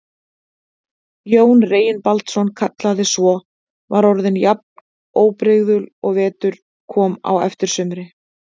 Jón Reginbaldsson kallaði svo, var orðin jafn óbrigðul og vetur kom á eftir sumri.